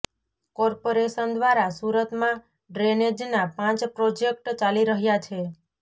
corporation દ્વારા સુરતમાં ડ્રેનેજના પાંચ પ્રોજેક્ટ ચાલી રહ્યા છે